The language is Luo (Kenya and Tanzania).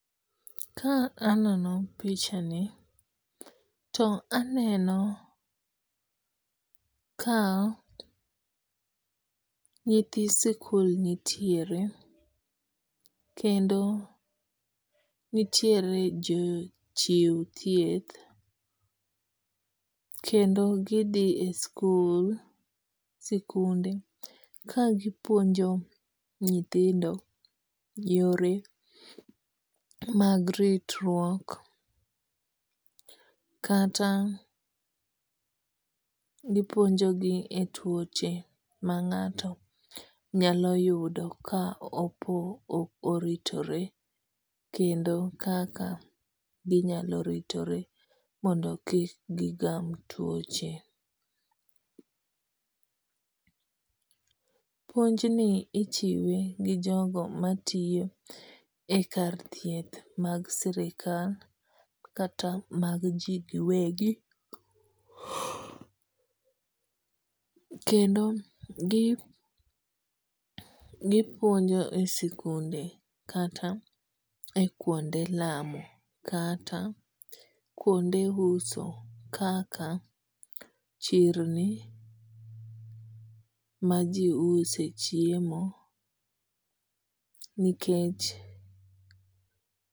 Ka aneno pichani, to aneno ka nyithi sikul nitiere kendo nitiere jochiw thieth kendo gidhi e sikul sikunde kagipuonjo nyithindo yore mag ritruok kata gipuonjogi e tuoche ma ng'ato nyalo yudo ka oritore kendo kaka ginyalo ritore mon do kik gigam tuoche. Puonjni ichiwe gi jogo matiyo e karvthieth mag sirikalmkata mag ji giwegi. Kendo gi gipuonjo e sikunde kata e kuonde lamo kata kuonde uso kaka chirni majiuse chiemo nikech